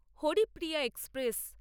Haripriya express